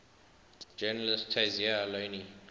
journalist tayseer allouni